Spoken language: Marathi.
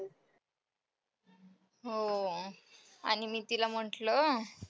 हो. आणि मी तिला म्हंटलं,